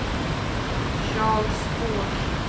Charles Fors